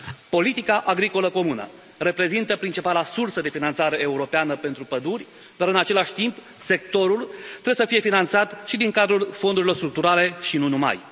Politica agricolă comună reprezintă principala sursă de finanțare europeană pentru păduri, dar în același timp, sectorul trebuie să fie finanțat și din cadrul fondurilor structurale și nu numai.